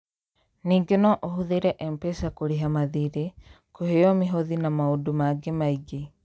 Ningĩ no ũhũthĩre M-Pesa kũrĩha mathiirĩ, kũheo mĩhothi na maũndũ mangĩ maingĩ.